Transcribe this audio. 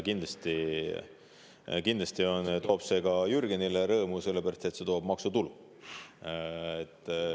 Kindlasti teeb see ka Jürgenile rõõmu, sellepärast et see toob maksutulu.